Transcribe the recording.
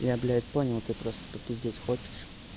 я блять понял ты просто попиздеть хочешь